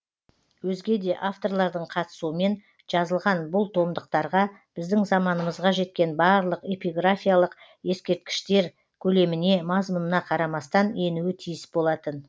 өзге де авторлардың қатысуымен жазылған бұл томдықтарға біздің заманымызға жеткен барлық эпиграфиялық ескерткіштер көлеміне мазмұнына қарамастан енуі тиіс болатын